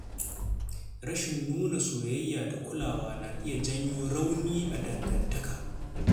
Rashin nuna soyayya da kulawa na iya janyo rauni a dangantaka.